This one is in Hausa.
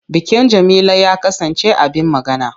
Bikin Jamila ya kasance abin magana.